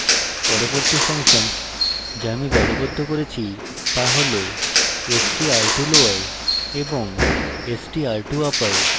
পরবর্তী ফাংশনস যা আমি দলবদ্ধ করেছি তা হল: str to lower এবং str to upper